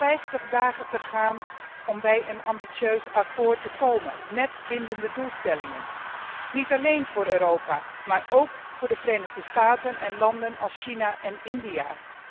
We hebben nog vijftig dagen om tot een ambitieus akkoord te komen met bindende doelstellingen, niet alleen voor Europa, maar ook voor de Verenigde Staten en landen als China en India.